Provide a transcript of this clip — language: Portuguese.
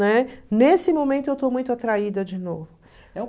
Né? Nesse momento, eu estou muito atraída de novo.